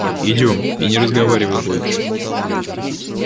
идём и не разговаривай больше